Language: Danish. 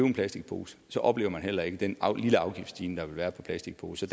en plastikpose oplever man heller ikke den lille afgiftsstigning der vil være på plastikposer